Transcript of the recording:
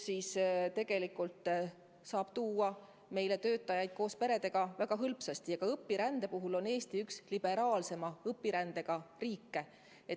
Tegelikult saab meile töötajaid koos peredega tuua väga hõlpsasti ja ka õpirände poolest on Eesti üks liberaalseima õpirändereeglistikuga riike.